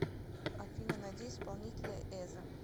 афина найди исполнителя эзо